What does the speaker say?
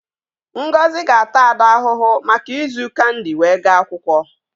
Ngozi ga-ata Ada ahụhụ maka izu kandi wee gaa akwụkwọ.